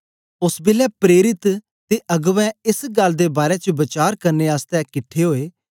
ओस बेलै प्रेरित ते अगबें एस गल्ल दे बारै च वचार करने आसतै किटठे ओए